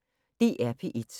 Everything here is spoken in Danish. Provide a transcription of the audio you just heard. DR P1